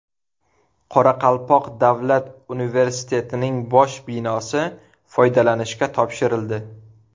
Qoraqalpoq davlat universitetining bosh binosi foydalanishga topshirildi .